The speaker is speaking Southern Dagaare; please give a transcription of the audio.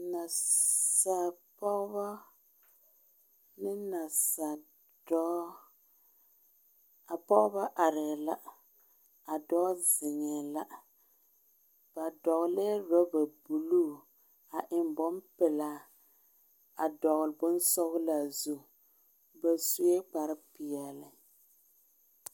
Naasaal pɔgeba ane naasaal dɔɔ,a pɔgeba are la a dɔɔ zeŋɛ la ba dɔgelɛ ɔraba buluu a eŋe bonpelaa a dɔgeli bonsɔglaa zu ba sue kpare pɛɛle.